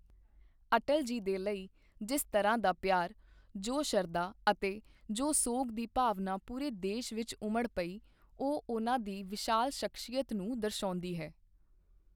ਅਟਲ ਜੀ ਦੇ ਲਈ ਜਿਸ ਤਰ੍ਹਾਂ ਦਾ ਪਿਆਰ, ਜੋ ਸ਼ਰਧਾ ਅਤੇ ਜੋ ਸੋਗ ਦੀ ਭਾਵਨਾਂ ਪੂਰੇ ਦੇਸ਼ ਵਿੱਚ ਉਮੜ ਪਈ, ਉਹ ਉਨ੍ਹਾਂ ਦੀ ਵਿਸ਼ਾਲ ਸ਼ਖਸੀਅਤ ਨੂੰ ਦਰਸ਼ਾਉਂਦੀ ਹੈ।